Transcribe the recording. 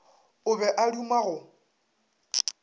o be a duma go